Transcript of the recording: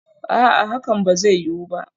A'a, hakan ba zai yiwu ba